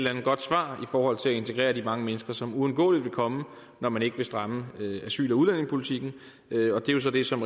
andet godt svar i forhold til at integrere de mange mennesker som uundgåeligt vil komme når man ikke vil stramme asyl og udlændingepolitikken og det er så det som